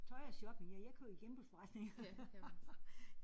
Tøj og shopping ja jeg køber i genbrugsforretninger